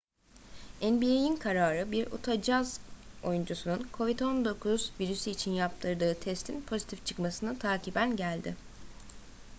nba'in kararı bir utah jazz oyuncusunun covid-19 virüsü için yaptırdığı testin pozitif çıkmasını takiben geldi